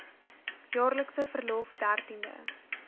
jaarlikse verlof dertiende